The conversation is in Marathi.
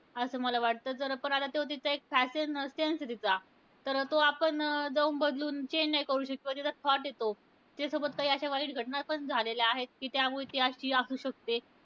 असं मला वाटतं. जर पण त्याचा आता त्यो तिचा एक fashion sense आहे तिचा. तर तो आपण अं जाऊन बदलून change नाही करू शकतं. किंवा तिचा thought आहे तो. तिच्यासोबत काही अश्या वाईट घटना पण झालेल्या आहेत, कि त्यामुळे ती अशी असू शकते.